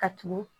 Ka tugu